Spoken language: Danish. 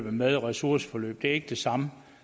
med ressourceforløb det er ikke det samme